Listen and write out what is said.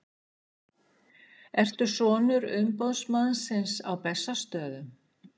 Ertu sonur umboðsmannsins á Bessastöðum?